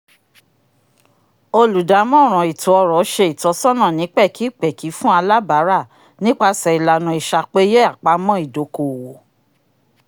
olùdámọ̀ràn ètó-ọ̀rọ̀ ṣe ìtọ́sọ́nà ni pẹkipẹki fún alábara nípasẹ ìlànà is'apeyé apamọ́ idoko-owo